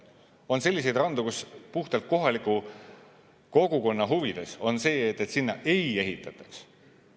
On selliseid randu, kus puhtalt kohaliku kogukonna huvides on see, et sinna ei ehitataks.